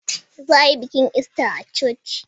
Za a yi bikin Ista a coci.